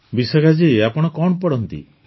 ବିଶାଖା ଜୀ ଆପଣ କଣ ପଢ଼ନ୍ତି